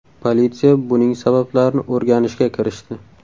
Politsiya buning sabablarini o‘rganishga kirishdi.